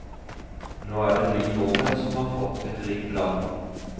Nå er det vi nordmenn som har fått et rikt land.